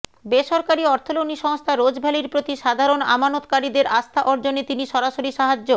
বেসরকারি অর্থলগ্নি সংস্থা রোজ ভ্যালির প্রতি সাধারণ আমানতকারীদের আস্থা অর্জনে তিনি সরাসরি সাহায্য